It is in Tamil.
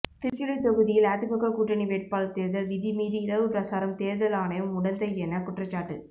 திருச்சுழி தொகுதியில் அதிமுக கூட்டணி வேட்பாளர் தேர்தல் விதிமீறி இரவு பிரசாரம் தேர்தல் ஆணையம் உடந்தையென குற்றச்சாட்டு